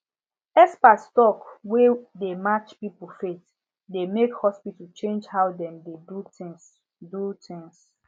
expert talk wey dey match people faith dey make hospital change how dem dey do things do things